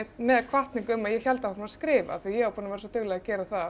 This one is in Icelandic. með hvatningu um að ég héldi áfram að skrifa af því ég var svo dugleg að gera það